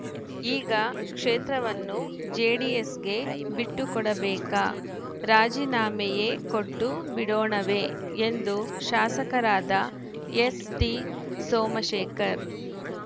ಈಗ ಕ್ಷೇತ್ರವನ್ನು ಜೆಡಿಎಸ್‌ಗೆ ಬಿಟ್ಟುಕೊಡಬೇಕಾ ರಾಜೀನಾಮೆಯೇ ಕೊಟ್ಟು ಬಿಡೋಣವೇ ಎಂದು ಶಾಸಕರಾದ ಎಸ್‌ಟಿ ಸೋಮಶೇಖರ್‌